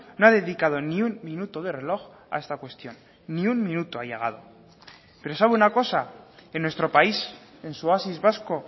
no ha dedicado ni un minuto de reloj a esta cuestión ni un minuto ha llegado pero sabe una cosa en nuestro país en su oasis vasco